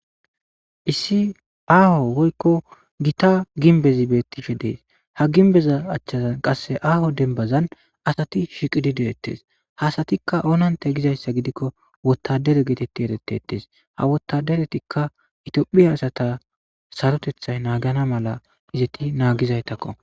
issi aaho goykko gita ginbezi beettishe dees ha ginbeza achchazan qasse aaho denbazan asati shiqidi deettes hasatikka onanta gizayssa gidikko wottadere geetetti erettetes ha wottaderetikka itiphiya asata sarotethay naagana mala izetti naagizaytakko